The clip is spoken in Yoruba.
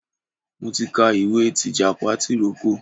Mo ti ka ìwé tìjàpá tìrókò.